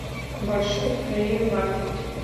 маршрут корея маркет